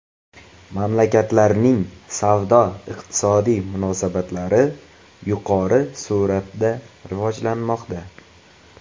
Mamlakatlarning savdo-iqtisodiy munosabatlari yuqori sur’atda rivojlanmoqda.